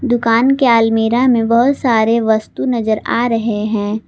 दुकान के अलमीरा में बहोत सारे वस्तु नजर आ रहे हैं।